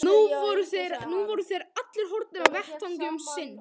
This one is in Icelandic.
Nú voru þeir allir horfnir af vettvangi um sinn.